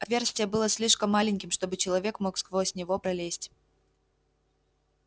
отверстие было слишком маленьким чтобы человек мог сквозь него пролезть